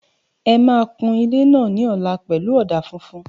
Ẹ máa kun ilé náà ní ọ̀la pẹ̀lú ọ̀dà funfun